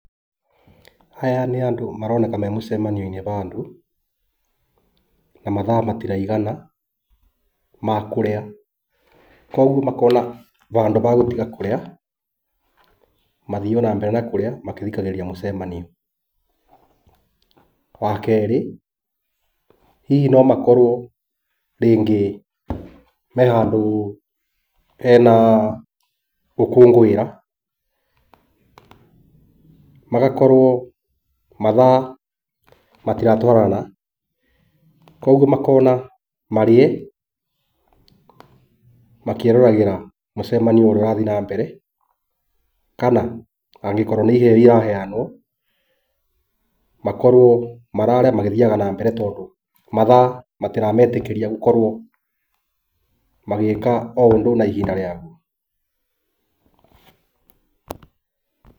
Aya nĩ andũ maroneka me mũcemanio-inĩ wa andũ na mathaa matiraigana ma kũrĩa, kwoguo makona handũ ha gũtiga kũrĩa, mathiĩ o na mbere na kũrĩa magĩthikagĩrĩria mũcemanio. Wa kerĩ, hihi no makorũo rĩngĩ me handũ hena gũkũngũĩra pause magakorũo mathaa matiratũarana kwoguo makona marĩa makĩroragĩra mũcemanio ũrĩa ũrathiĩ na mbere kana angĩkorũo nĩ iheo iraheanwo makorũo mararĩa magĩthiaga nambere tondũ mathaa matirametĩkĩria gũkorwo magĩka o ũndũ na ihinda rĩaguo.